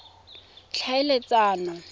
tlhaeletsano